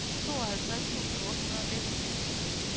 tooghalvtreds tusind otte hundrede og nitten